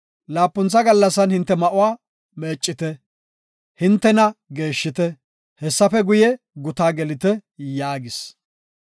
Laapuntha gallasan hinte ma7uwa meeccite; hintena geeshshite. Hessafe guye, gutaa gelite” yaagis.